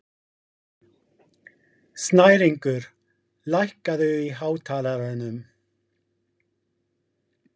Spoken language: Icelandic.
Snæringur, lækkaðu í hátalaranum.